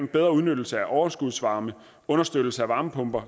bedre udnyttelse af overskudsvarme understøttelse af varmepumper